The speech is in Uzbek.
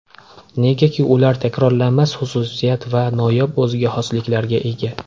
Negaki ular takrorlanmas xususiyat va noyob o‘ziga xosliklarga ega.